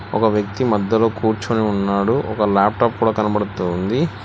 ఒక వ్యక్తి మధ్యలో కూర్చుని ఉన్నాడు ఒక లాప్టాప్ కూడా కనబడుతోంది.